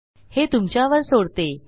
हे तुमच्यावर सोडतो